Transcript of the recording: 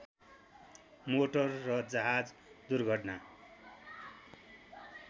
motor र जहाज दुर्घटना